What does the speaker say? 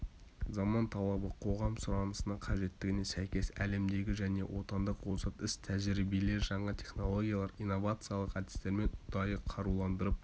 заман талабы қоғам сұранысына қажеттігіне сәйкес әлемдегі және отандық озат іс-тәжірибелер жаңа технологиялар инновациялық әдістермен ұдайы қаруландырып